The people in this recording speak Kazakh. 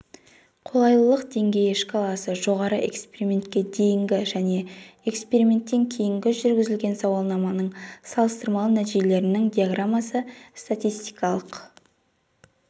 қолайлылық деңгейі шкаласы жоғары экспериментке дейінгі және эксперименттен кейінгі жүргізілген сауалнаманың салыстырмалы нәтижелерінің диаграммасы статистикалық